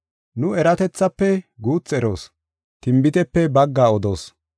Nu eratethaafe guuthi eroos; tinbitepe baggaa odoos.